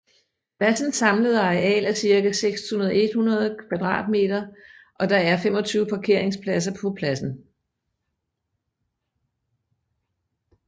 Pladsens samlede areal er cirka 6100 m² og der er 25 parkeringspladser på pladsen